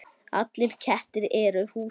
Allir kettir eru húsgögn